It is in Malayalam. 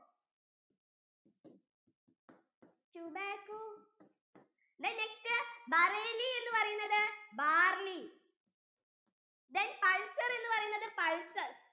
then next bareilly എന്ന് പറയുന്നത് barlley then pulsar എന്ന് പറയുന്നത് pulses